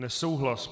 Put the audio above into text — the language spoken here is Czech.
Nesouhlas.